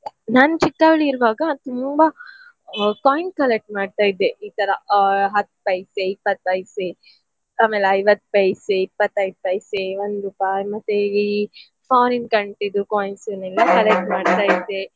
ನಾನ್ ಚಿಕ್ಕವಳಿರುವಾಗ ತುಂಬ ಆ coin collect ಮಾಡ್ತಾ ಇದ್ದೆ ಈ ತರ ಆ ಹತ್ತ್ ಪೈಸೆ, ಇಪ್ಪತ್ತ್ ಪೈಸೆ, ಆಮೇಲ್ ಐವತ್ತ್ ಪೈಸೆ, ಇಪ್ಪತೈದ್ ಪೈಸೆ ಒಂದ್ ರುಪಾಯ್ ಮತ್ತೇ ಈ foreign country ದು coins ಅನ್ನೆಲ್ಲಾ collect ಮಾಡ್ತಾ ಇದ್ದೆ.